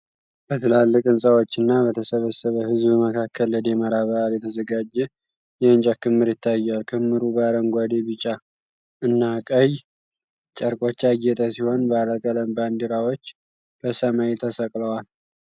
በትላልቅ ህንፃዎች እና በተሰበሰበ ህዝብ መካከል ለደመራ በዓል የተዘጋጀ የእንጨት ክምር ይታያል። ክምሩ በአረንጓዴ፣ ቢጫ እና ቀይ ጨርቆች ያጌጠ ሲሆን፣ ባለቀለም ባንዲራዎች በሰማይ ተሰቅለዋል።